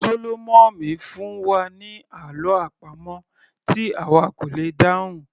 Sólómọ̀mì fún wa ní àlọ́ àpamọ̀ tí àwa kò lè dáhùn